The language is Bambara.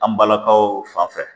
An balakaw fanfɛ